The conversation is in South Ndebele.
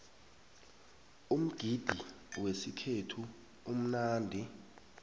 umgidi wesikhethu umnandi